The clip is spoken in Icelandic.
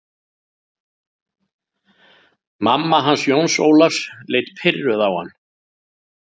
Mamma hans Jóns Ólafs leit pirruð á hann.